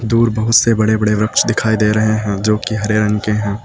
दूर बहुत से बड़े बड़े वृक्ष दिखाई दे रहे हैं जो कि हरे रंग के हैं।